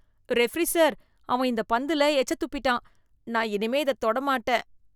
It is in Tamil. ரெஃபரி சார், அவன் இந்த பந்துல எச்சத் துப்பிட்டான், நான் இனிமே இதத் தொடமாட்டேன்.